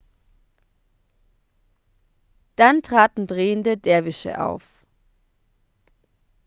dann traten drehende derwische auf